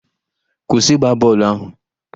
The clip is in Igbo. Kwụsị ịgba bọọlụ ahụ!